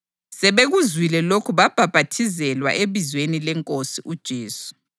Sebekuzwile lokhu babhaphathizelwa ebizweni leNkosi uJesu.